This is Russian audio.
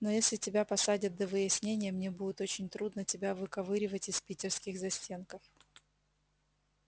но если тебя посадят до выяснения мне будет очень трудно тебя выковыривать из питерских застенков